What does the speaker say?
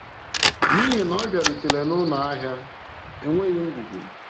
N’ihi na ọ bịarutere n’ụlọ ahịa enweghị ngwugwu.